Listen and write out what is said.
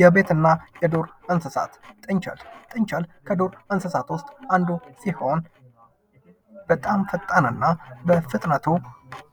የቤትና የዱር እንስሳት። ጥንቸል። ጥንቸል ከዱር እንስሳት ውስጥ አንዱ ሲሆን በጣም ፈጣንና በፍጥነቱ